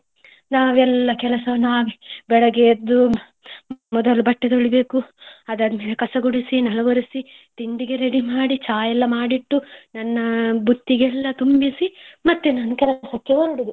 ನಾವೆಲ್ಲ ಕೆಲಸ ನಾವೇ ಬೆಳಗ್ಗೆ ಎದ್ದು ಮೊದಲು ಬಟ್ಟೆ ತೊಳಿಬೇಕು ಆದ ಮೇಲೆ ಕಸಗುಡಿಸಿ ನೆಲ ಒರೆಸಿ ತಿಂಡಿಗೆ ready ಮಾಡಿ ಚಾಯೆಲ್ಲ ಮಾಡಿಟ್ಟು ನನ್ನ ಬುತ್ತಿಯೆಲ್ಲ ತುಂಬಿಸಿ ಮತ್ತೆ ನಾನು ಕೆಲಸಕ್ಕೆ ಹೊರಡುದು.